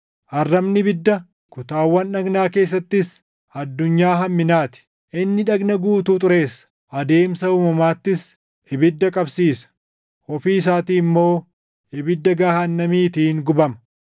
Arrabni ibidda; kutaawwan dhagnaa keessattis addunyaa hamminaa ti. Inni dhagna guutuu xureessa; adeemsa uumamaattis ibidda qabsiisa; ofii isaatii immoo ibidda gahaannamiitiin gubama.